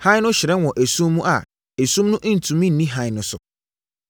Hann no hyerɛn wɔ esum mu a esum no ntumi nni hann no so.